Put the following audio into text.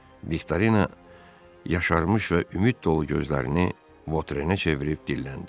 Viktorina yaşarmış və ümid dolu gözlərini Votrenə çevirib dilləndi.